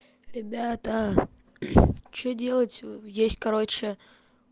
ребята что делать есть короче